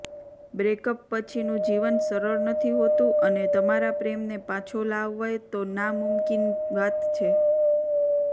breakup પછીનુ જીવન સરળ નથી હોતુ અને તમારા પ્રેમને પાછો લાવવોતો ના નમુમકિન વાત છે